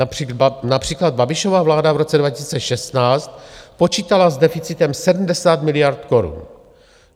Například Babišova vláda v roce 2016 počítala s deficitem 70 miliard korun.